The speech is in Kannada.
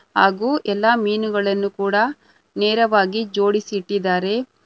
ಹಾಗೂ ಎಲ್ಲಾ ಮೀನುಗಳನ್ನು ಕೂಡ ನೇರವಾಗಿ ಜೋಡಿಸಿಟ್ಟಿದ್ದಾರೆ.